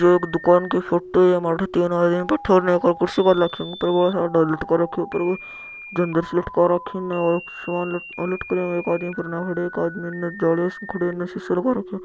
ये एक दुकान की फोटो है एम आथे तीन बैठा उरन एक कुर्सी घाल राखी है ए ऊपर बोला सारा ढोल लटका रखा है ऊपर इन और सामान लटका राखो है एक आदमी परने खड़ो है एक आदमी जाली कण खड़ा है एक सीसो लगा राखो है।